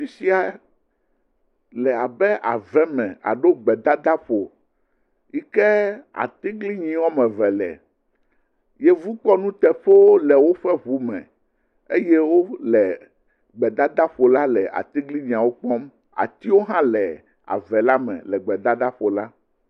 Fi sia le abe aveme alo gbedadaƒo yi ke atiglinyi wɔme eve le. Yevukpɔnuteƒewo e woƒe ŋu me eye wo le gbedadaƒo la le atiglinyiawo kpɔm. atiwo hã le ave la me le gbedadaƒo la.